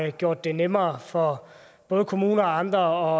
har gjort det nemmere for både kommuner og andre